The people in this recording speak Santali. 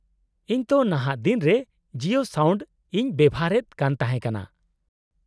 -ᱤᱧ ᱛᱚ ᱱᱟᱦᱟᱜ ᱫᱤᱱ ᱨᱮ ᱡᱤᱭᱳ ᱥᱟᱣᱱᱰ ᱤᱧ ᱵᱮᱣᱦᱟᱨᱮᱫ ᱠᱟᱱ ᱛᱟᱦᱮᱸ ᱠᱟᱱᱟ ᱾